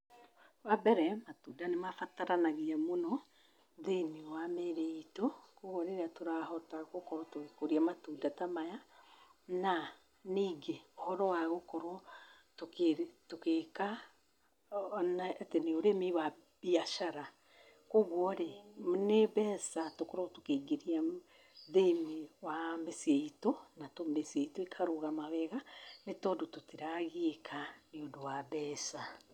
Wa mbere, matunda nĩ mabataranagia mũno thĩinĩ wa mĩĩrĩ ĩtũ, koguo rĩrĩa tũrahota gũkũrĩa matunda ta maya, na nĩngĩ ũhoro wa gũkorwo tũgĩka, atĩ nĩ ũrĩmi wa biacara, koguo nĩ mbeca tũkoragwo tũkĩingĩria thĩinĩ wa mĩciĩ itũ, na mĩciĩ itũ ĩgakorwo ya kũrũgama, ni tondũ tũtiragiĩka nĩ ũndũ wa mbeca.